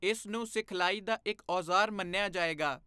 ਇਸ ਨੂੰ ਸਿਖਲਾਈ ਦਾ ਇੱਕ ਔਜ਼ਾਰ ਮੰਨਿਆ ਜਾਏਗਾ।